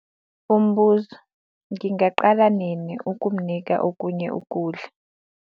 Umbuzo- Ngingaqala nini ukumnika okunye ukudla?